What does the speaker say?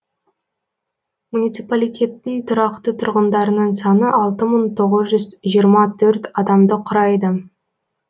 муниципалитеттің тұрақты тұрғындарының саны алты мың тоғыз жүз жиырма төрт адамды құрайды